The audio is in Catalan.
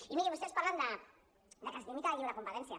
i mirin vostès parlen de que es limita la lliure competència